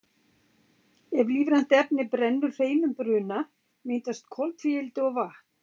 ef lífrænt efni brennur hreinum bruna myndast koltvíildi og vatn